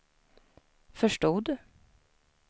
förstod